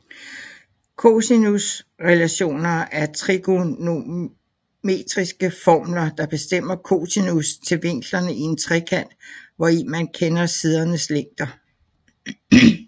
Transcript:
Cosinusrelationer er trigonometriske formler der bestemmer cosinus til vinklerne i en trekant hvori man kender sidernes længder